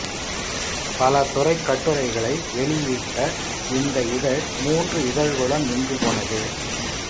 பல துறைக் கட்டுரைகளை வெளியிட்ட இந்த இதழ் மூன்று இதழ்களுடன் நின்று போனது